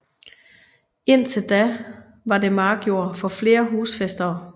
Indtil da var det markjord for flere husfæstere